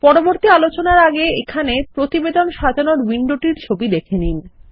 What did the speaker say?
পরবর্তী আলোচনারআগে এখানে প্রতিবেদন সাজানোর উইন্ডোটিরছবি দেখে নিন